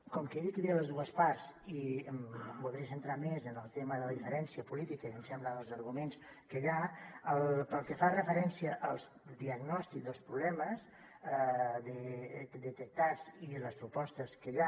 com que he dit que hi havia les dues parts i em voldré centrar més en el tema de la diferència política i em sembla en els arguments que hi ha pel que fa referència als diagnòstics dels problemes detectats i les propostes que hi ha